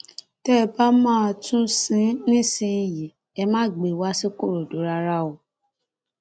tẹ ẹ bá máa tún un sìn nísìyìí ẹ má gbé e wá ṣikòròdú rárá o